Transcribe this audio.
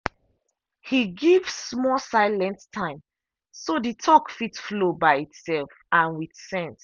he give small silent time so the talk fit flow by itself and with sense.